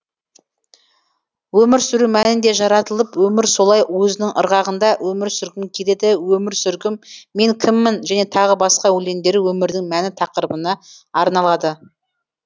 өмір сүру мәні не жаратылып өмір солай өзінің ырғағында өмір сүргім келеді өмір сүргім мен кіммін және тағы басқа өлеңдері өмірдің мәні тақырыбына арналады